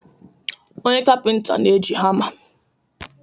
Onye kapịnta na-eji hama.